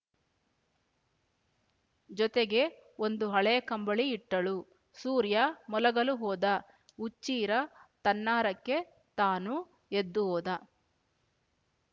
ಜೊತೆಗೆ ಒಂದು ಹಳೇ ಕಂಬಳಿ ಇಟ್ಟಳು ಸೂರ್ಯ ಮಲಗಲು ಹೋದ ಹುಚ್ಚೀರ ತನ್ನಾರಕ್ಕೆ ತಾನು ಎದ್ದು ಹೋದ